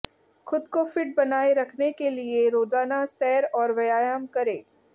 खुद को फिट बनाए रखने के लिए रोजाना सैर और व्यायाम करें